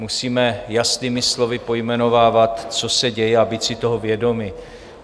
Musíme jasnými slovy pojmenovávat, co se děje, a být si toho vědomi.